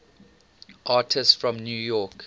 artists from new york